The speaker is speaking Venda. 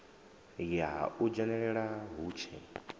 ya u dzhenelela hu tshe